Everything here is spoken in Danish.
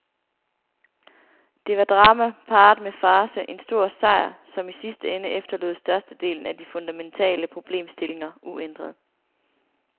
Det var drama parret med farce, en stor sejr, som i sidste ende efterlod størstedelen af de fundamentale problemstillinger uændrede.